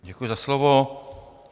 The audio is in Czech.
Děkuji za slovo.